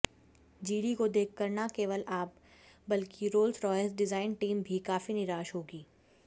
जीली को देखकर न केवल आप बल्कि रोल्स रॉयल्स डिजाइन टीम भी काफी निराश होगी